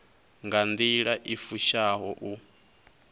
nga nḓila i fushaho u